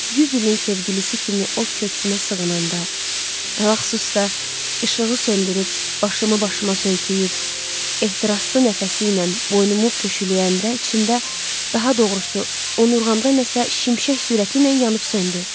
100 ilin sevgilisi kimi o köksümə sığınanda, ələlxüsus da işığı söndürüb başımı başıma söykəyib ehtiraslı nəfəsi ilə boynumu püşüləyəndə içimdə, daha doğrusu onurğamda nə isə şimşək sürəti ilə yanıb söndü.